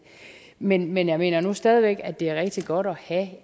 men men jeg mener nu stadig væk at det er rigtig godt at